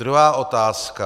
Druhá otázka.